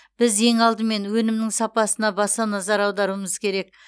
біз ең алдымен өнімнің сапасына баса назар аударуымыз керек